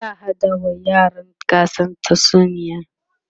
za'a haɗa wa yaran gasar tatsuniya